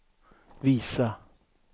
visa